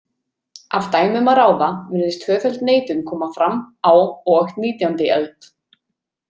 Af dæmum að ráða virðist tvöföld neitun koma fram á og nítjándi öld.